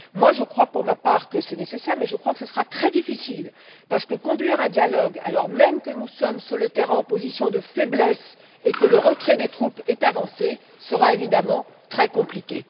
Je crois, pour ma part, que c'est nécessaire, mais je crois que ce sera très difficile, parce que conduire un dialogue alors même que nous sommes sur le terrain en position de faiblesse et que le retrait des troupes est avancé, sera, évidemment, très compliqué.